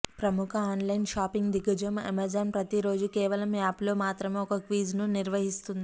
ప్రముఖ online shopping దిగ్గజం Amazon ప్రతిరోజూ కేవలం యాప్ లో మాత్రమే ఒక క్విజ్ ను నిర్వహిస్తుంది